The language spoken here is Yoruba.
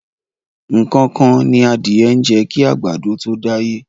Nǹkan kan ni adìẹ ń jẹ kí àgbàdo tó dáyé.